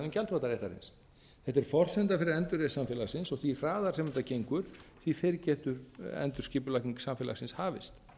gjaldþrotaréttarins þetta er forsenda fyrir endurreisn samfélagsins og því hraðar sem þetta gengur því fyrr getur endurskipulagning samfélagsins hafist